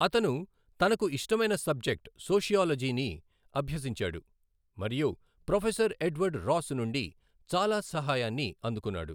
అతను తనకు ఇష్టమైన సబ్జెక్ట్, సోషియాలజీని అభ్యసించాడు, మరియు ప్రొఫెసర్ ఎడ్వర్డ్ రాస్ నుండి చాలా సహాయాన్ని అందుకున్నాడు.